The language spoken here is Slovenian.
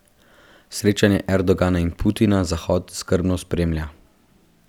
Srečanje Erdogana in Putina Zahod skrbno spremlja.